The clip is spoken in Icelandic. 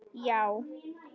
Já?